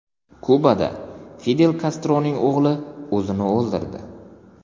Kubada Fidel Kastroning o‘g‘li o‘zini o‘ldirdi.